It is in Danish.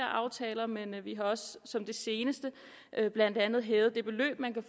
aftaler men vi har også som det seneste blandt andet hævet det beløb man